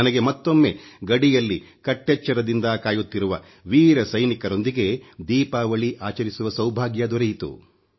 ನನಗೆ ಮತ್ತೊಮ್ಮೆ ಗಡಿಯಲ್ಲಿ ಕಟ್ಟೆಚ್ಚರದಿಂದ ಕಾಯುತ್ತಿರುವ ವೀರ ಸೈನಿಕರೊಂದಿಗೆ ದೀಪಾವಳಿ ಆಚರಿಸುವ ಸೌಭಾಗ್ಯ ದೊರೆಯಿತು